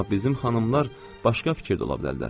Amma bizim xanımlar başqa fikir də ola bilərlər.